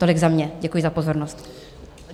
Tolik za mě, děkuji za pozornost.